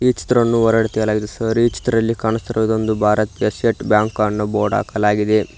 ಈ ಚಿತ್ರವನ್ನು ಹೊರಗಡೆ ತೆಗೆಯಲಾಗಿದೆ ಸರ್ ಈ ಚಿತ್ರದಲ್ಲಿ ಕಾಣುತ್ತಿರುವೂ ಒಂದು ಭಾರತ್ ಕೇಸೆಟ್ ಬ್ಯಾಂಕ್ ಅನ್ನು ಬೋರ್ಡ್ ಹಾಕಲಾಗಿದೆ.